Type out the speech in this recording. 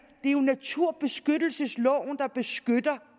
jo er naturbeskyttelsesloven der beskytter